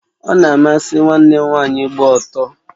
Ona amasị nwanne m nwaanyị ịgba ọtọ